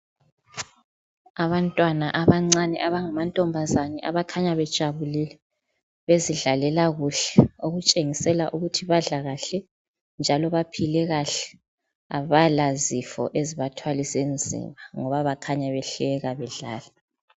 abantwana abancane abangamantombazana abakhanya bejabulile bezidlalela kuhle okutshengisela ukuthi badla kuhle njalo baphile kahle abalazifo ezibathwalise nzima